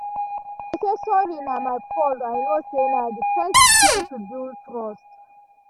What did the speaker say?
i say sorry na my fault i know say na d first thing to build trust